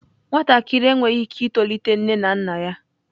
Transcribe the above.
Nwatakịrị enweghị ike itolite nne na nna ya.